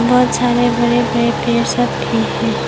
बहोत सारे बड़े बड़े पेड़ सब भी है।